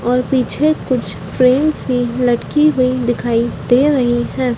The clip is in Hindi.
और पीछे कुछ फ्रांस भी लटकी हुई दिखाई दे रही है।